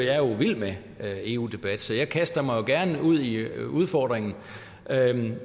vild med eu debatter så jeg kaster mig gerne ud i udfordringen